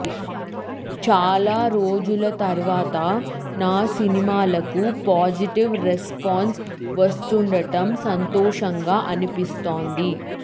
చాలా రోజుల తర్వాత నా సినిమాకు పాజిటివ్ రెస్పాన్స్ వస్తుండటం సంతోషంగా అనిపిస్తోంది